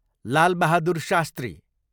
लाल Bahadur शास्त्री